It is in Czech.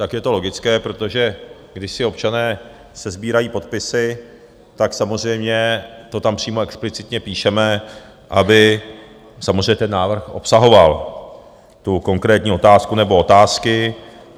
Tak je to logické, protože když si občané sesbírají podpisy, tak samozřejmě to tam přímo explicitně píšeme, aby samozřejmě ten návrh obsahoval tu konkrétní otázku nebo otázky.